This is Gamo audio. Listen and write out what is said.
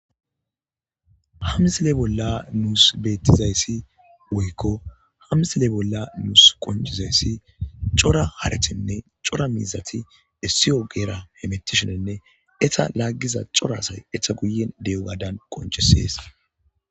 Hamsile bolla nuus bettizayssi woykko hamsile bolla nuus qoncizayssi cora harethinne cora miizati essiyo geera hemettishenenne eta laaggiza cora asay eta guyen de'ogadan qoncisees.